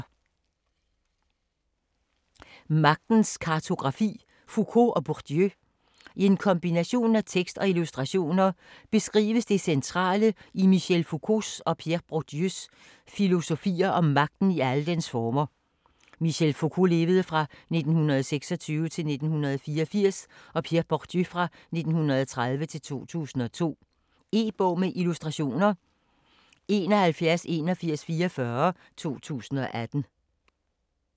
Magtens kartografi: Foucault og Bourdieu I en kombination af tekst og illustrationer beskrives det centrale i Michel Foucaults (1926-1984) og Pierre Bourdieus (1930-2002) filosofier om magten i alle dens former. E-bog med illustrationer 718144 2018.